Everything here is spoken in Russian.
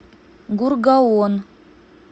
гургаон